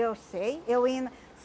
Eu sei. Eu ia na